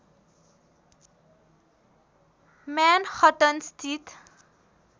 Manhattan स्थित